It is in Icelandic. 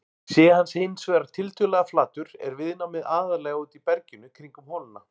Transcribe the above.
Sé hann hins vegar tiltölulega flatur er viðnámið aðallega úti í berginu kringum holuna.